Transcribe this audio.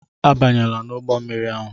Abanyela n'ụgbọ mmiri ahu!